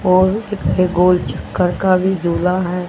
और एक गोल चक्कर का भी झूला है।